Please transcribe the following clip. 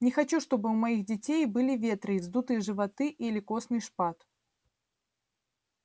не хочу чтобы у моих детей были ветры и вздутые животы или костный шпат